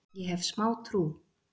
Ég hef smá trú.